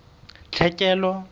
tlhekelo